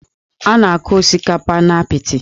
A na-akụ osikapa n'apịtị